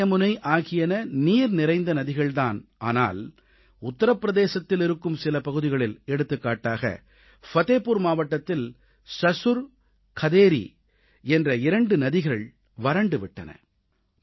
கங்கை யமுனை ஆகியன நீர் நிறைந்த ஆறுகள் ஆனால் உத்திரப் பிரதேசத்தில் இருக்கும் சில பகுதிகளில் எடுத்துக்காட்டாக ஃபதேபுர் மாவட்டத்தில் சசுர் கதேரீ என்ற இரண்டு ஆறுகள் வறண்டு விட்டன